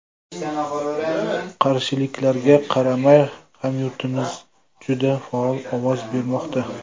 Qarshiliklarga qaramay, hamyurtlarimiz juda faol ovoz bermoqda.